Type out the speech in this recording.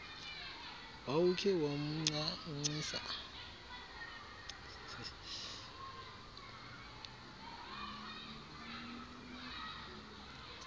wawukhe wamnca ncisa